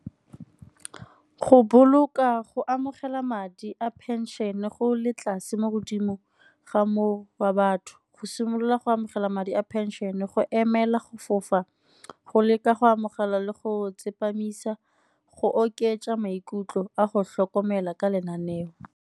Go boloka go amogela madi a pension-e go le tlase mo godimo ga moo wa batho. Go simolola go amogela madi a pension-e, go emela go fofa, go leka go amogela le go tsepamisa go oketsa maikutlo a go tlhokomela ka lenaneo.